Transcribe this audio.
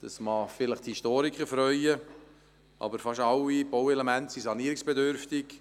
Das mag die Historiker freuen, aber fast alle Bauelemente sind sanierungsbedürftig.